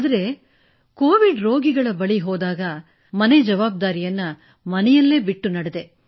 ಆದರೆ ಕೋವಿಡ್ ರೋಗಿಗಳ ಬಳಿಗೆ ಹೋದಾಗ ಮನೆಯ ಜವಾಬ್ದಾರಿಯನ್ನು ಮನೆಯಲ್ಲೇ ಬಿಟ್ಟು ನಡೆದೆ